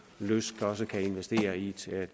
lyst også kan investere i et